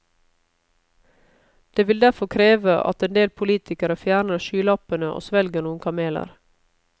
Det vil derfor kreve at en del politikere fjerner skylappene og svelger noen kameler.